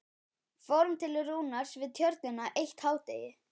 Fórum til Rúnars Við Tjörnina eitt hádegi.